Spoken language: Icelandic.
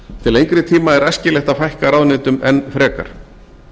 til lengri tíma er æskilegt að fækka ráðuneytum enn frekar